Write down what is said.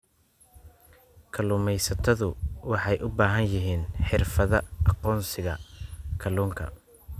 Kalluumaysatadu waxay u baahan yihiin xirfadaha aqoonsiga kalluunka.